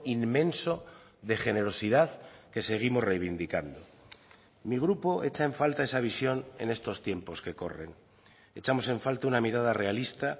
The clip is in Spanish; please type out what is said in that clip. inmenso de generosidad que seguimos reivindicando mi grupo echa en falta esa visión en estos tiempos que corren echamos en falta una mirada realista